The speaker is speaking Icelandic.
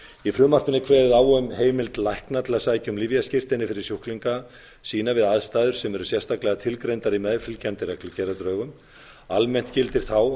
í frumvarpinu er kveðið á um heimild lækna til að sækja um lyfjaskírteini fyrir sjúklinga sína við aðstæður sem eru sérstaklega tilgreindar í meðfylgjandi reglugerðardrögum almennt gildir þá